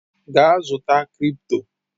Gaa zụta cripto!